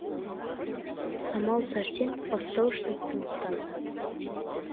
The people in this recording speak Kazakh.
самал сәрсен бастауыш сыныптың ұстазы